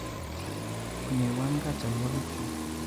Onyoiwankat cholwoki'kyuk.